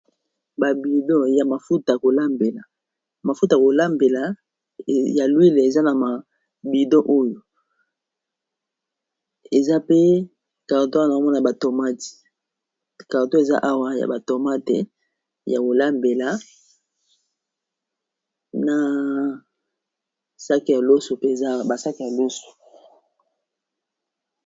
mafuta ya kolambela ya huille eza na ba bidon oyo eza pe na ba carton ya biloko mususu. omona batomati carato eza awa ya batomate ya kolambela na sake ya loso peza basake ya loso.